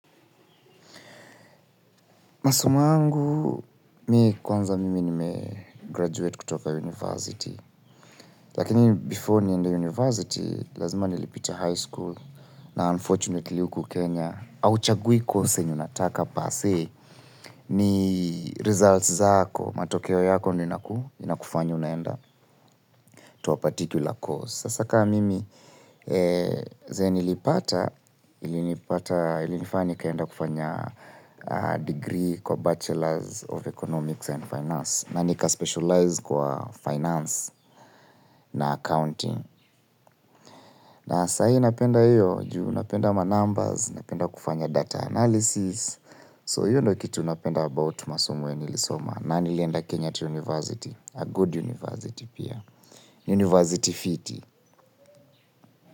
Masomo yangu, mi kwanza mimi nime 'graduate' kutoka 'university'. Lakini before niende 'university', lazima nilipita 'high school' na 'unfortunately' huku Kenya Hauchagui 'course' unataka 'per se' ni 'results' zako. Matokeo yako ndio ina kufanya unaenda 'to a particular course'. Sasa kaa mimi zenye nilipata, ilinifanya nikaenda kufanya digrii kwa 'bachelor's of economics and finance' na nika 'specialize' kwa 'finance' na 'accounting'. Na saa hii napenda hio, juu napenda ma 'numbers', napenda kufanya 'data analysis'. 'So' hio ndo kitu napenda 'about' masomo yenye nilisoma na nilienda Kenyatta 'university', 'a good university' pia, 'university' fiti.